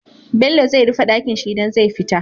Bello zai rife Ɗakinshi idan zai fita